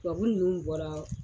Tubabu nunnu bɔra